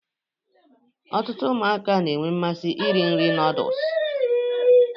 Ọtụtụ ụmụaka na-enwe mmasị iri nri nooduls